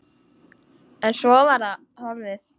En svo var það horfið.